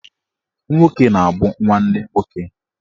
Nwoke na-abụ nwanne nwoke